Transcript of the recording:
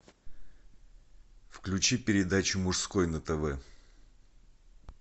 включи передачу мужской на тв